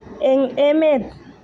eng emet